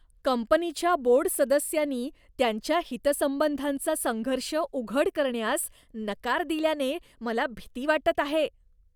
कंपनीच्या बोर्ड सदस्यांनी त्यांच्या हितसंबंधांचा संघर्ष उघड करण्यास नकार दिल्याने मला भीती वाटत आहे.